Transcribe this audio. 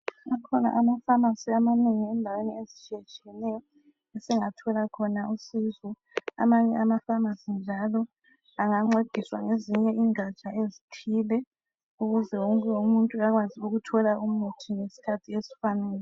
Akhona ama pharmacy amanengi endaweni ezitshiyetshiyeneyo esingathola khona usizo amanye ama pharmacy njalo angancedisa ngezinye ingatsha ezithile ukuze wonke umuntu akwazi ukuthola umuthi ngesikhathi esifaneleyo.